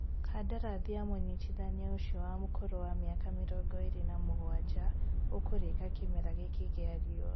Kandarathi ya mũnyitithania ũcio wa ũkũrũ wa mĩaka mĩrongo ĩrĩ na mũgwanja, ũkũrĩka kĩmera gĩkĩ gĩa riua